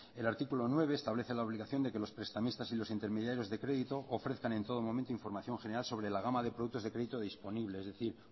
el artículo nueve establece la obligación de que los prestamistas y los intermediarios de crédito ofrezcan en todo momento información general sobre la gama de productos de crédito disponible es decir